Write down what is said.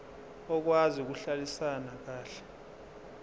okwazi ukuhlalisana kahle